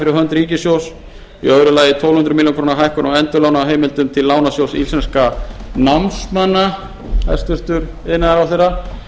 fyrir hönd ríkissjóðs í öðru lagi tólf hundruð milljóna króna hækkun á endurlánaheimildum til lánasjóðs íslenskum námsmanna hæstvirtur iðnaðarráðherra